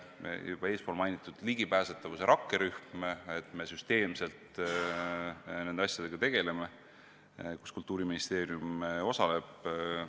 Ka juba eespool mainitud ligipääsetavuse rakkerühm näitab, et me süsteemselt nende asjadega Kultuuriministeeriumi osalusel tegeleme.